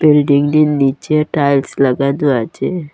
বিল্ডিংটির নীচে টাইলস লাগানো আছে।